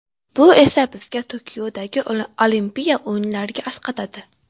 Bu esa bizga Tokiodagi Olimpiya o‘yinlarida asqatadi.